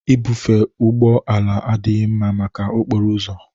Ibufe ụgbọ ala adịghị mma maka okporo ụzọ